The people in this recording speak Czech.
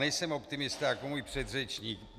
Nejsem optimista jako můj předřečník.